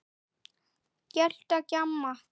Gelta, gjamma.